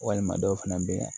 Walima dɔw fana bɛ